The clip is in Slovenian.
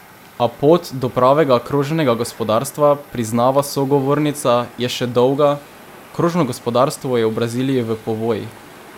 A pot do pravega krožnega gospodarstva, priznava sogovornica, je še dolga: "Krožno gospodarstvo je v Braziliji v povojih.